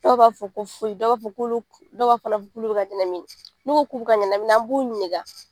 Dɔw b'a fɔ ko foyi, dɔw b'a fɔ k'olu dɔw fana k'ulu bi ka ɲɛnamini, n'u ko k'u bi ka ɲɛnamini, an b'u ɲinika